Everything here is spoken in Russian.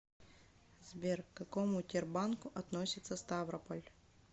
сбер к какому тербанку относится ставрополь